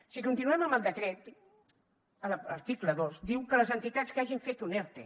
si continuem amb el decret l’article dos diu que les entitats que hagin fet un erte